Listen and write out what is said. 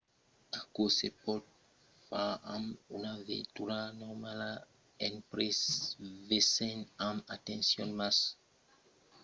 aquò se pòt far amb una veitura normala en prevesent amb atencion mas un 4x4 es fòrtament conselhat e fòrça endreches son solament accessible amb un 4x4 de ròdas grandas